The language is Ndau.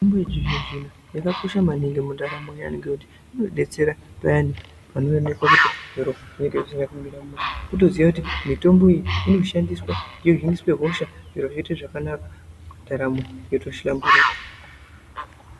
Mitombo yechizvino zvino yakakosha maningi mundaramo yaantu ngekuti inodetsera payani panoonekwa kuti zviro zvinenge zvisina kumira mushe kutoziya kuti mitombo iyi inoshandiswa yohiniswe hosha zviro zvoite zvakanaka ndaramo yotohlamburuka.